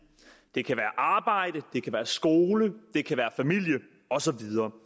det kan være arbejde det kan være skole det kan være familie og så videre